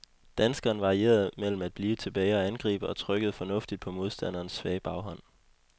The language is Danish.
Danskeren varierede mellem at blive tilbage og angribe, og trykkede fornuftigt på modstanderens svage baghånd.